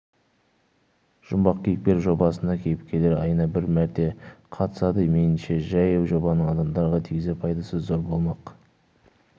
жұмбақ кейіпкер жобасына кейіпкерлер айына бір мәрте қатысады меніңше жаңа жобаның адамдарға тигізер пайдасы зор болмақ